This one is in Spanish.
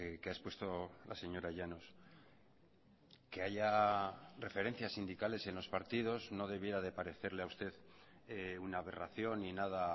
que ha expuesto la señora llanos que haya referencias sindicales en los partidos no debiera de parecerle a usted una aberración ni nada